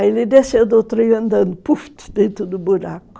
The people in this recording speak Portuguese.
Aí ele desceu do trem andando, puff, dentro do buraco.